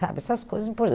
Sabe, essas coisas